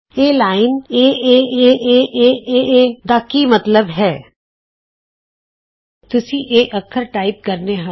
ਇਹ ਲਾਈਨ ਏਏਏ ਏਏਏਏਏਏ ਏਏਏ ਦਾ ਕੀ ਮਤਲਬ ਹੈ160 ਤੁਸੀਂ ਇਹ ਅੱਖਰ ਟਾਈਪ ਕਰਨੇ ਹਨ